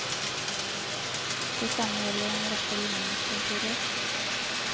Det samme gjelder en rekke ligningskontorer.